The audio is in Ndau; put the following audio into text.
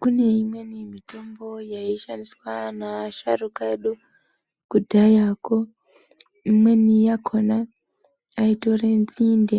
Kune imweni mitombo yaishandiswa neasharuka edu, kudhayako. Imweni yakhona, aitore nzinde,